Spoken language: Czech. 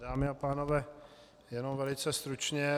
Dámy a pánové, jenom velice stručně.